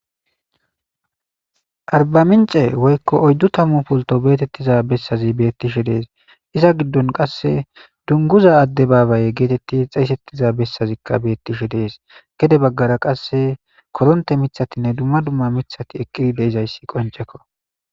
arbamince woykko oyddu tamu polto beetettiza bessazi bettishe dees iza giddon qasse dunguza adde baabaye geetetti xeessettiza bessazikka beettishe dees gede baggara qasse koronte mithatinne dumma dumma mithati eqqidi de'izayssi qoncekko